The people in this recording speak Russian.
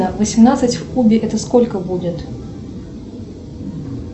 восемнадцать в кубе это сколько будет